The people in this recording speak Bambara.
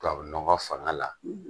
Tubabu nɔgɔ fanga la